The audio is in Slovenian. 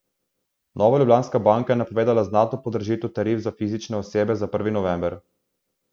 Nova Ljubljanska banka je napovedala znatno podražitev tarif za fizične osebe za prvi november.